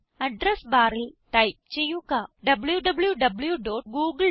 address ബാറിൽ type ചെയ്യുക wwwgooglecom